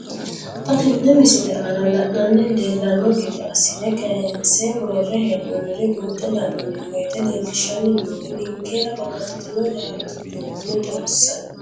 Xa tenne missile aana la'nara leellanno gede assine kayiinse worre hee'noonniri buunxe la'nanni woyiite leellishshanni noori ninkera babbaxxitino laalote duuno xawissanno.